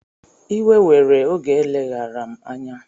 Iwe were oge eleghara m anya